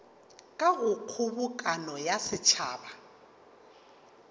ka go kgobokano ya setšhaba